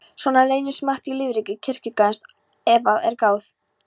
Svona leynist margt í lífríki kirkjugarðsins ef að er gáð.